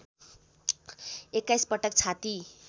२१ पटक छाती